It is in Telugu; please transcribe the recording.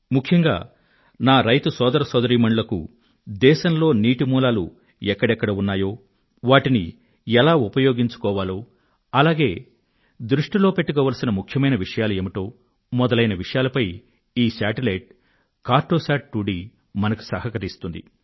ముఖ్యంగా నా రైతు సోదర సోదరీమణులకు దేశంలో నీటి మూలాలు ఎక్కడెక్కడ ఉన్నాయో వాటిని ఎలా ఉపయోగించుకోవాలి అలాగే దృష్టిలో పెట్టుకోవలసిన ముఖ్యమైన విషయాలు ఏమిటి తదితర అంశాలపై కార్టొశాట్ 2డి మనకు సహకరిస్తుంది